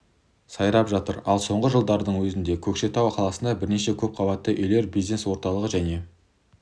сайрап жатыр ал соңғы жылдардың өзінде көкшетау қаласында бірнеше көп қабатты үйлер бизнес орталығы және